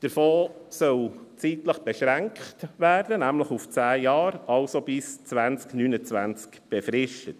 Der Fonds soll zeitlich beschränkt werden, nämlich auf zehn Jahre, also bis 2029 befristet.